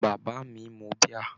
Bàbá mi mu bíà?